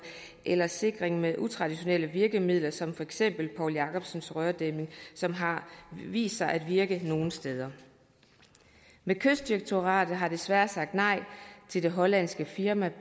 eller sikring med utraditionelle virkemidler som for eksempel poul jakobsens rørdæmning som har vist sig at virke nogle steder men kystdirektoratet har desværre sagt nej til det hollandske firma